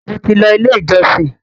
mo tí ló ilé ìjósìn.